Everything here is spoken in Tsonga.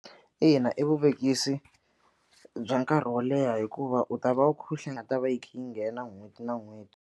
Ina i vuvekisi bya nkarhi wo leha hikuva u ta va u kha u yi nga ta va yi kha yi nghena n'hweti na n'hweti.